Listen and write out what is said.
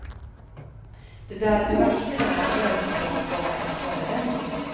Det där med vakterna var helt klart bara en förevändning.